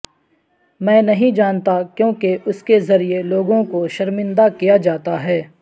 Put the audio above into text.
میں نہیں جانتا کیوں کہ اس کے ذریعہ لوگوں کو شرمندہ کیا جاتا ہے